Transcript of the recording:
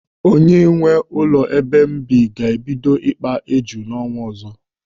Onye nwee ụlọ ebe m bi ga-ebido ikpa éjù n'ọnwa ọzọ.